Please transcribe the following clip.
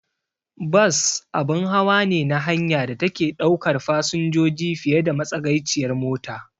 Bas abun hawa ne na hanya da take ɗaukar fasinjoji fiye da matsagaiciyar mota.